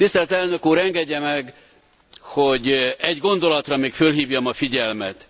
Tisztelt Elnök úr, engedje meg, hogy egy gondolatra még fölhívjam a figyelmet.